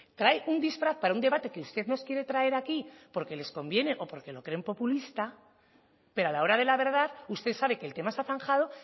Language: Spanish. trae un disfraz para un debate que usted nos quiere traer aquí porque les conviene o porque lo creen populista pero a la hora de la verdad usted sabe que el que más ha zanjado